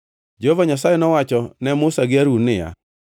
Jehova Nyasaye nowacho ne Musa gi Harun niya,